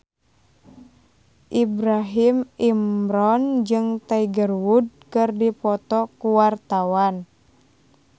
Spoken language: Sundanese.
Ibrahim Imran jeung Tiger Wood keur dipoto ku wartawan